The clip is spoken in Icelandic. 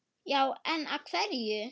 Já en. af hverju?